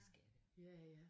Det skal det